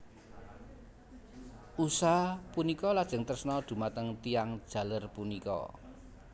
Usha punika lajeng tresna dhumateng tiyang jaler punika